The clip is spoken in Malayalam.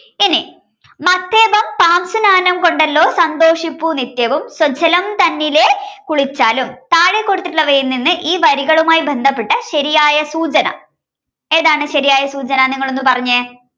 ഇനി മത്തേപം സാംശുനാനം കൊണ്ടല്ലോ സന്തോഷിപ്പൂ നിത്യവും സ്വജ്ജലം തന്നിലെ കുളിച്ചായാലും താഴെ കൊടുത്തിട്ടുള്ളവയിൽനിന്ന് ഈ വരികളുമായി ബന്ധപ്പെട്ട ശരിയായ സൂചന ഏതാണ് ശരിയായ സൂചന നിങ്ങളൊന്നു പറഞ്ഞേ